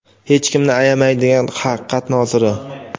hech kimni ayamaydigan haqiqat noziri.